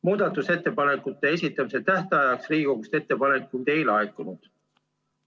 Muudatusettepanekute esitamise tähtajaks Riigikogust ettepanekuid ei laekunud.